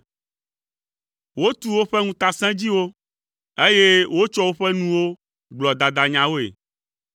Wotu woƒe ŋutasẽdziwo, eye wotsɔa woƒe nuwo gblɔa dadanyawoe.